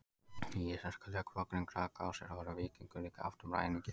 Í íslensku lögbókinni Grágás er orðið víkingur líka haft um ræningja.